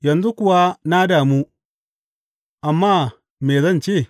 Yanzu kuwa na damu, amma me zan ce?